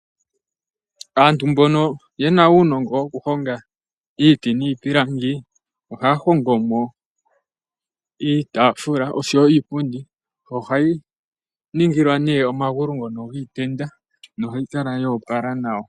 Aantu mbono yena unongo wokuhonga iti nipilangi , ohahongomo iitafula osho wo iipundi ohayi ningilwa ne omangulu ngono ngitenda nohayi kala yopala nawa.